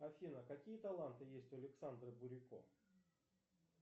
афина какие таланты есть у александра бурико